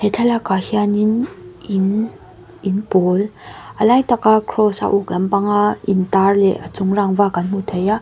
he thlalak ah hianin in in pawl a lai taka cross a uk lampanga in tar leh a chung rangva kan hmu thei a.